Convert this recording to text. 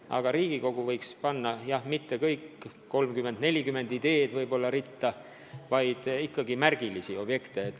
Aga Riigikogu võiks panna mitte 30–40 ideed ritta, vaid mõelda ikkagi märgilistele objektidele.